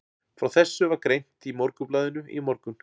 Frá þessu var greint í Morgunblaðinu í morgun.